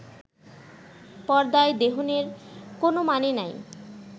পর্দায় দেহনের কোনও মানে নাই